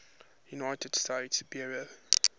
united states bureau